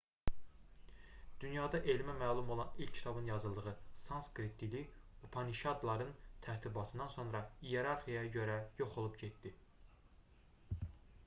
dünyada elmə məlum olan ilk kitabın yazıldığı sanskrit dili upanişadların tərtibatından sonra iyerarxiyaya görə yox olub getdi